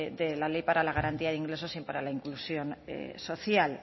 de la ley para la garantía de ingreso y para la inclusión social